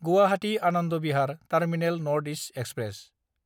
Guwahati Anand Vihar terminal north east express